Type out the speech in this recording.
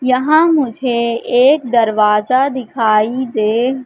यहां मुझे एक दरवाजा दिखाई दे--